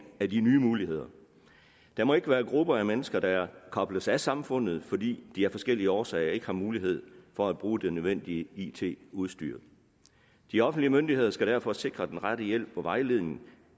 af de nye muligheder der må ikke være grupper af mennesker der kobles af samfundet fordi de af forskellige årsager ikke har mulighed for at bruge det nødvendige it udstyr de offentlige myndigheder skal derfor sikre den rette hjælp og vejledning